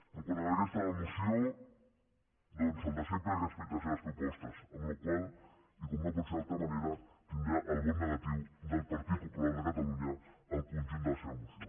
quant a la resta de la moció doncs el de sempre respecte a les seves propostes amb la qual cosa i com no pot ser d’altra manera tindrà el vot negatiu del partit popular de catalunya en el conjunt de la seva moció